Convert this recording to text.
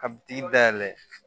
Ka bi dayɛlɛ